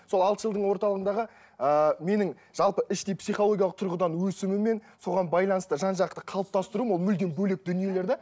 сол алты жылдың орталығындағы ыыы менің жалпы іштей психологиялық тұрғыдан өсімімен соған байланысты жан жақты қалыптастыруым ол мүлдем бөлек дүниелерді